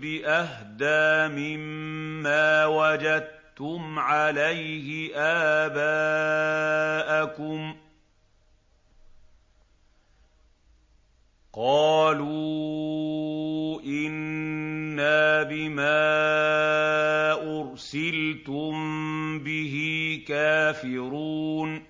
بِأَهْدَىٰ مِمَّا وَجَدتُّمْ عَلَيْهِ آبَاءَكُمْ ۖ قَالُوا إِنَّا بِمَا أُرْسِلْتُم بِهِ كَافِرُونَ